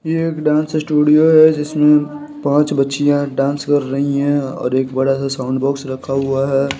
ये एक dance studio है जिसमें पांच बच्चियां डांस कर रही हैं और एक बड़ा सा साउंड बॉक्स रखा हुआ है।